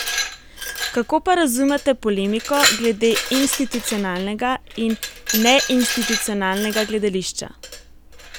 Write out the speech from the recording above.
Kako pa razumete polemiko glede institucionalnega in neinstitucionalnega gledališča?